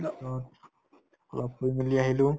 অলপ ফুৰিমেলি আহিলো